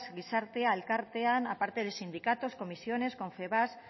gizartea elkartea aparte de sindicatos comisiones confebask